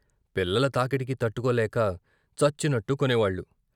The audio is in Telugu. పిల్లల తాకిడికి తట్టుకోలేక చచ్చినట్టు కొనేవాళ్ళు.